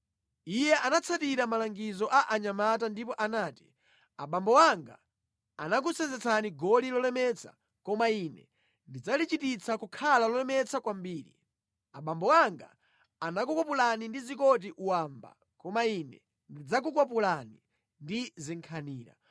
Iye anatsatira malangizo a anyamata ndipo anati, “Abambo anga anakusenzetsani goli lolemetsa koma ine ndidzalichititsa kukhala lolemetsa kwambiri. Abambo anga anakukwapulani ndi zikoti wamba koma ine ndidzakukwapulani ndi zinkhanira.”